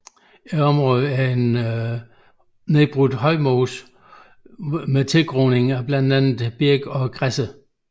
Området er en nedbrudt højmose under tilgroning med blandt andet birk og græsser